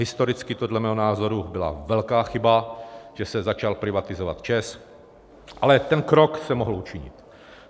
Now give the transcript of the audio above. Historicky podle mého názoru byla velká chyba, že se začal privatizovat ČEZ, ale ten krok se mohl učinit.